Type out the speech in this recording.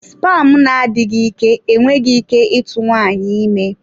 Spam na-adịghị ike enweghị ike ịtụ nwaanyị ime.